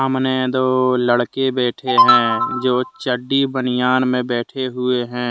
अमने दो लड़के बैठे हैजो चड्डी बनियान में बैठें हुए है।